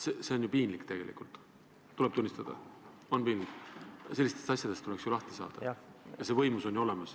See on ju piinlik, tuleb tunnistada, sellistest asjadest tuleks lahti saada ja see võimalus on olemas.